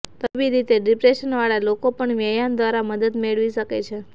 તબીબી રીતે ડિપ્રેશનવાળા લોકો પણ વ્યાયામ દ્વારા મદદ મેળવી શકે છે